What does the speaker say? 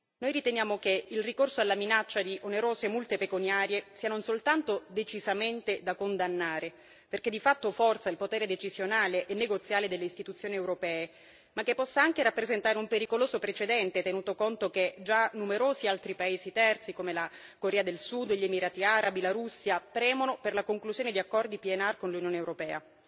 Noi riteniamo che il ricorso alla minaccia di onerose multe pecuniarie sia non soltanto decisamente da condannare, perché di fatto forza il potere decisionale e negoziale delle istituzioni europee, ma che possa anche rappresentare un pericoloso precedente, tenuto conto che già numerosi altri paesi terzi, come la Corea del Sud e gli Emirati Arabi, la Russia premono per la conclusione di accordi PNR con l'Unione europea.